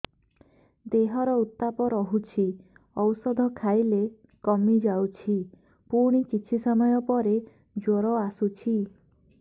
ଦେହର ଉତ୍ତାପ ରହୁଛି ଔଷଧ ଖାଇଲେ କମିଯାଉଛି ପୁଣି କିଛି ସମୟ ପରେ ଜ୍ୱର ଆସୁଛି